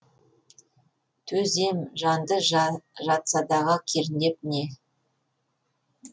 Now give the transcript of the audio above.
төзем жанды жатсадағы кернеп не